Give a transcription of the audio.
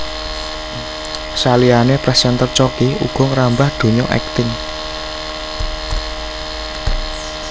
Saliyané présènter Choky uga ngrambah donya akting